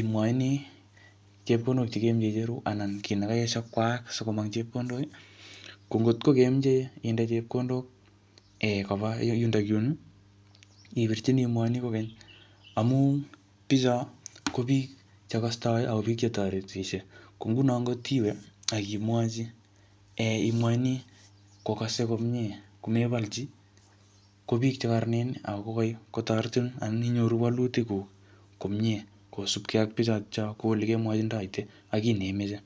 imwachini chepkondok che kemeche icheru, anan kiy nekaesho kwaak sikomong chepkondok. Ko ngotko kemeche inde chepkondok um koba yundokyun, ipirchini imwochini kokeny. Amu bicho, ko biik che kastoi ako biik che toretishei. Ko nguno ngotiwe akimwochi um imwochini kokase komyee, komebalchi, ko biik che kararanen, ako koi kotoretin anan inyoru walutik kuk komyee kosupke ak bichotocho ko ole kemwajindoite, ak kiy neimeche.